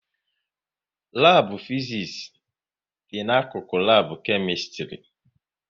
Labu Fiziks dị n'akụkụ lab Kemistri